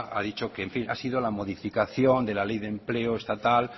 ha dicho que ha sido la modificación de la ley de empleo estatal